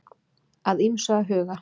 Að ýmsu að huga